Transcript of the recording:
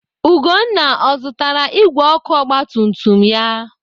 Ugonna ọ zụtara igwe ọkụ ogbatumtum ya?